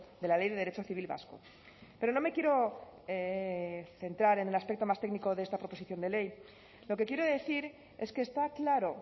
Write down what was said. de la ley de derecho civil vasco pero no me quiero centrar en el aspecto más técnico de esta proposición de ley lo que quiero decir es que está claro